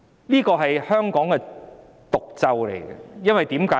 這是香港的毒咒，為甚麼？